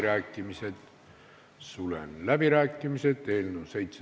Määran muudatusettepanekute esitamise tähtajaks 31. oktoobri kell 17.15.